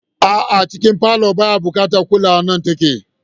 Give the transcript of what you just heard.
A'a, wurin zama a cikin falon baya buƙatar kulawa nan take.